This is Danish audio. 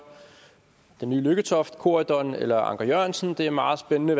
den nye lykketoft corydon eller anker jørgensen det er meget spændende